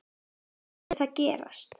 Ekki mátti það gerast.